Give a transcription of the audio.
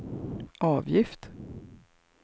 avgift